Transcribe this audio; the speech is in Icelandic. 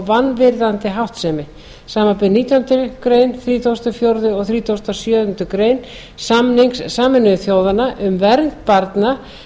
vanvirðandi háttsemi samanber nítjánda grein þrítugasta og fjórðu greinar og þrítugasta og sjöundu greinar samnings sameinuðu þjóðanna um vernd barna